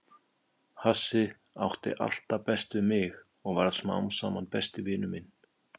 Hassið átti alltaf best við mig og varð smám saman besti vinur minn.